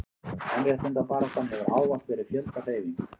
kvenréttindabaráttan hefur ávallt verið fjöldahreyfing